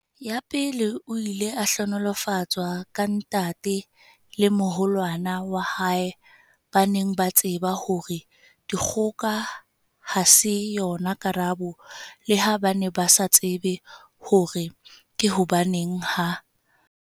Ya pele, o ile a hlohonolofatswa ka ntate le moholwane wa hae ba neng ba tseba hore dikgoka ha se yona karabo leha ba ne ba sa tsebe hore ke hobaneng ha.